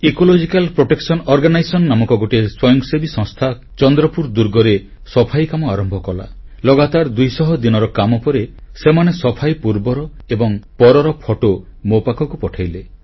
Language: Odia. ଇକୋଲୋଜିକାଲ ପ୍ରୋଟେକସନ ଅର୍ଗାନାଇଜେସନ ନାମକ ଗୋଟିଏ ସ୍ୱୟଂସେବୀ ସଂସ୍ଥା ଚନ୍ଦ୍ରପୁର ଦୁର୍ଗରେ ସଫେଇ କାମ ଆରମ୍ଭ କଲା ଲଗାତାର ଦୁଇଶହ ଦିନର କାମ ପରେ ସେମାନେ ସଫେଇ ପୂର୍ବର ଏବଂ ପରର ଫଟୋ ମୋ ପାଖକୁ ପଠାଇଲେ